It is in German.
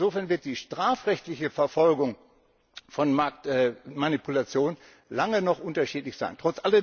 Insofern wird die strafrechtliche Verfolgung von Marktmanipulation noch lange unterschiedlich sein.